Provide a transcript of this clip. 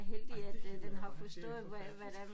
Ej det lyder bare helt forfærdeligt